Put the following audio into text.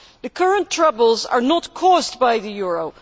The current troubles are not caused by the euro